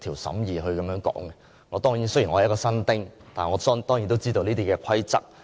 雖然我是一名"新丁"，但我當然亦知道這些規則。